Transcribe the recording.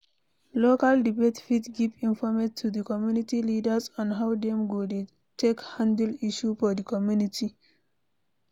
Local debate fit give informate to di community leaders on how dem go take handle issues for di community